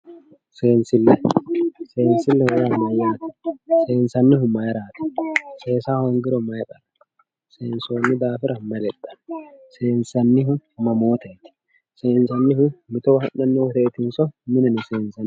Seensille, seensille yaa mayate, seensannihu mayirati, seessa hoongiro mayi qari no, seensonni daafira mayi lexano, seeensannihu mamotteti, seensanihu mitowa ha'nani woyitetinso mineno seensanni